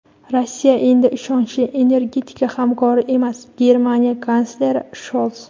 Rossiya endi ishonchli energetika hamkori emas – Germaniya kansleri Shols.